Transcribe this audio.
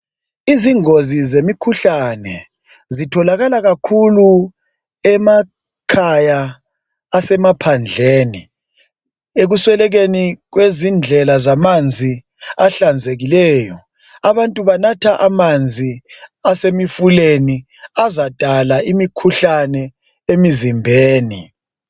Izingozi zemikhuhlane zitholakala kakhulu emakhaya asemaphandleni ekuswelekeni kwezindlela zamanzi ahlanzekileyo abantu banatha amanzi asemifuleni azadala imikhuhlane emzimbeni.